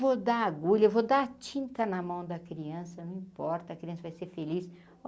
Vou dar agulha, vou dar tinta na mão da criança, não importa, a criança vai ser feliz.